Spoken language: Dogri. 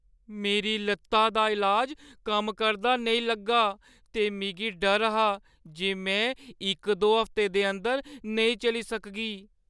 मेरी लत्ता दा इलाज कम्म करदा नेईं लग्गा ते मिगी डर हा जे में इक दो हफ्तें दे अंदर नेईं चली सकगी।